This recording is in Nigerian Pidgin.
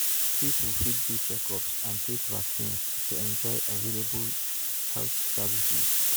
people fit do checkups and take vaccines to enjoy available health services.